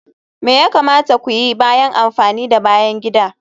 Me ya kamata ku yi bayan amfani da bayan gida?